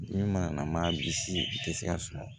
Min mana na maa bi si tɛ se ka suma